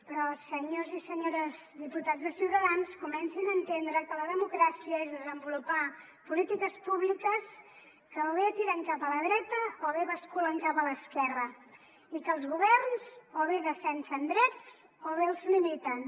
però senyors i senyores diputats de ciutadans comencin a entendre que la democràcia és desenvolupar polítiques públiques que o bé tiren cap a la dreta o bé basculen cap a l’esquerra i que els governs o bé defensen drets o bé els limiten